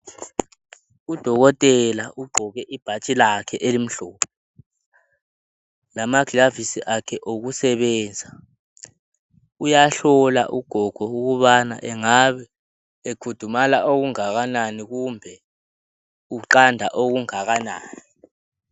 Udokotela ugqoke ibhatshi lakhe elimhlophe lama gilavisi akhe okusebenza uyahlola ugogo ukuthi angabe ekhudumala okungakanani, kumbe uqanda okungakanani.